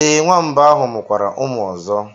Ee, nwamba ahụ mụkwara ụmụ ọzọ.